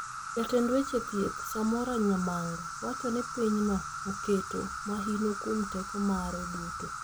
Jatend weche thieth, Samora Nyamanga wacho ni pinyno oketo mahino kuom teko mare duto